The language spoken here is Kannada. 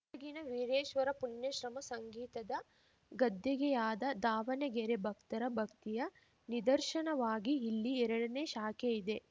ಗದಗಿನ ವೀರೇಶ್ವರ ಪುಣ್ಯಶ್ರಮ ಸಂಗೀತದ ಗದ್ದುಗೆಯಾದ ದಾವಣಗೆರೆ ಭಕ್ತರ ಭಕ್ತಿಯ ನಿದರ್ಶನವಾಗಿ ಇಲ್ಲಿ ಎರಡನೇ ಶಾಖೆ ಇದೆ